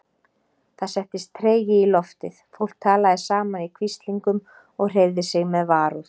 Það settist tregi í loftið, fólk talaði saman í hvíslingum og hreyfði sig með varúð.